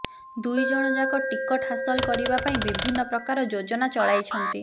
ଦୁଇ ଜଣ ଯାକ ଟିକଟ ହାସଲ କରିବା ପାଇଁ ବିଭିନ୍ନ ପ୍ରକାର ଯୋଜନା ଚଳାଇଛନ୍ତି